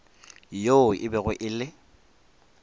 yoo e bego e le